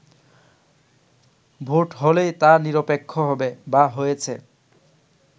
vote হলেই তা নিরপেক্ষ হবে বা হয়েছে